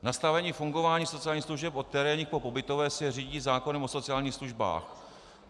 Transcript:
Nastavení fungování sociálních služeb od terénních po pobytové se řídí zákonem o sociálních službách.